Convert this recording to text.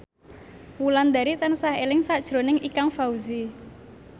Wulandari tansah eling sakjroning Ikang Fawzi